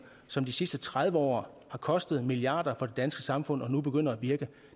som de sidste tredive år har kostet milliarder for det danske samfund og nu begynder at virke